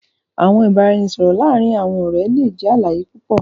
Awọn ibaraẹnisọrọ laarin awọn ọrẹ jẹ alaye pupọ